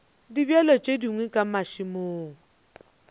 dibjalo tše dingwe ka mašemong